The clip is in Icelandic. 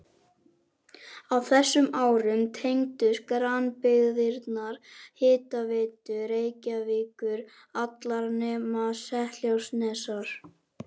Á þessum árum tengdust grannbyggðirnar Hitaveitu Reykjavíkur, allar nema Seltjarnarnes.